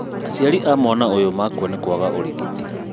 Aciari a mwana ũyũ makua nĩkwaga ũrigiti